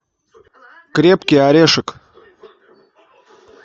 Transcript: крепкий орешек